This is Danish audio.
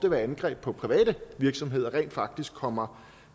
om angreb på private virksomheder rent faktisk kommer